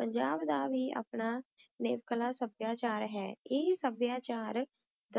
dਪੰਜਾਬ ਦਾ ਵੀ ਆਪਣਾ ਨਵੇਕਲਾ ਸਭ੍ਯਾਚਾਰ ਹੈ ਆਯ ਸਭ੍ਯਾਚਾਰ